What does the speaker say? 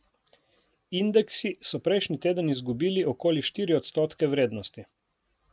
Indeksi so prejšnji teden izgubili okoli štiri odstotke vrednosti.